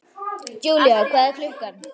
Julia, hvað er klukkan?